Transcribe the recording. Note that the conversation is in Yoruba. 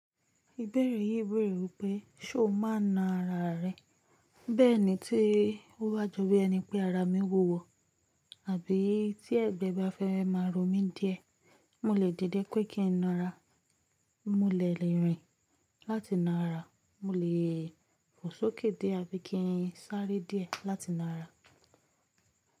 Ìbéèrè yìí béèrè wípé, ṣé o máa na ara rẹ? Bẹ́ẹ̀ ni tí ó wá jọ bí ẹni pé ara mi wúwo, àbí tí ẹ̀gbẹ́ bá fẹ́ máa ro mí díẹ̀, mo lè dìde pé kí n na ara, mo lè lèrín láti na'ra, mo lè fò sókè dé ábíi kí n sáré díẹ̀ láti na'ra.